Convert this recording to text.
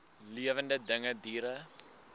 lewende dinge diere